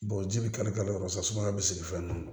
ji bɛ kari kari yɔrɔ saga bi sigi fɛn na